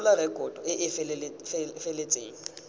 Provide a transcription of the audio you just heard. tshola rekoto e e feletseng